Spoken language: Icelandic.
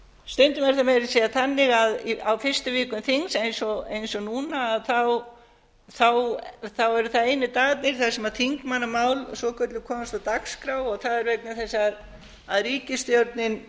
meira að segja þannig að á fyrstu vikum þings eins og núna eru það einu dagarnir þar sem þingmannamál svokölluð komast á dagskrá og það er vegna þess að ríkisstjórnin